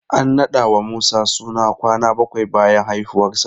An naɗa wa Musa suna kwana bakwai bayan haifuwarsa.